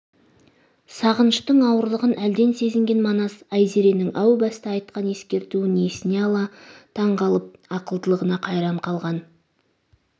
сағыныштың ауырлығын әлден сезінген манас айзеренің әу баста айтқан ескертуін есіне ала таң қалып ақылдылығына қайран қалған